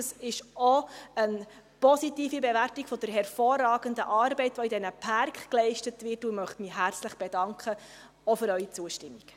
Dies ist auch eine positive Bewertung der hervorragenden Arbeit, welche in diesen Pärken geleistet wird, und dafür möchte ich mich herzlich bedanken, auch für Ihre Zustimmung.